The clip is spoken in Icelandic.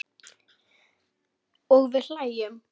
Og við hlæjum.